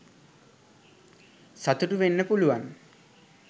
සතුටු වෙන්න පුලුවන්